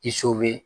I so be